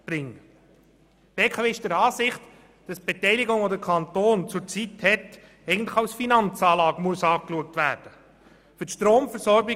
Die BKW ist der Ansicht, dass die Beteiligung, die der Kanton zurzeit hält, eigentlich als Finanzanlage betrachtet werden muss.